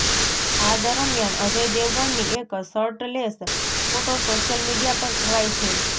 આ દરમિયાન અજય દેવગનની એક શર્ટલેસ ફોટો સોશિયલ મીડિયા પર છવાઈ છે